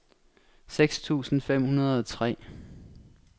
seks tusind fem hundrede og tre